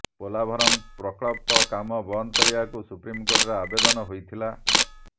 ପୋଲାଭରମ୍ ପ୍ରକଳ୍ପ କାମ ବନ୍ଦ କରିବାକୁ ସୁପ୍ରିମକୋର୍ଟରେ ଆବେଦନ ହୋଇଥିଲା